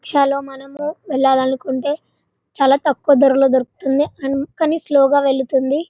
rickshaw లో మనము వెళ్లాలనుకుంటే చాల తక్కువ ధరలో దొరుకుతుంది అండ్ చాల స్లో గ వెళ్తుంది--